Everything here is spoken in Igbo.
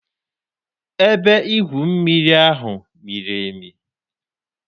Ebe igwu mmiri ahụ miri emi.